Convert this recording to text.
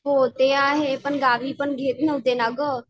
हो ते आहे पण गावी पण घेत नव्हते ना गं.